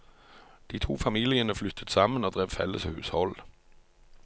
De to familiene flyttet sammen og drev felles hushold.